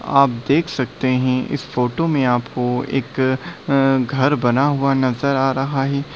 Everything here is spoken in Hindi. आप देख सकते है इस फोटो में आपको एक घर बना हुआ नजर आ रहा है।